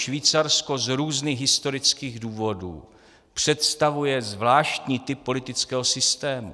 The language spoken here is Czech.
Švýcarsko z různých historických důvodů představuje zvláštní typ politického systému.